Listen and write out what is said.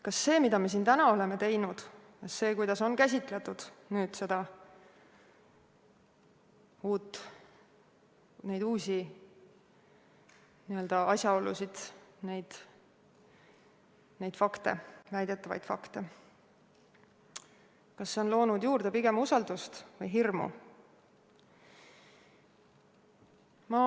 Kas see, mida me siin täna oleme teinud, see, kuidas on käsitletud neid uusi asjaolusid, neid väidetavaid fakte, kas see on loonud juurde pigem usaldust või hirmu?